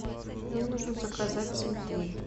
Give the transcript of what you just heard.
мне нужно заказать цветы